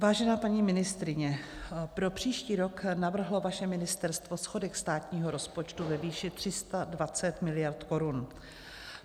Vážená paní ministryně, pro příští rok navrhlo vaše ministerstvo schodek státního rozpočtu ve výši 320 miliard korun.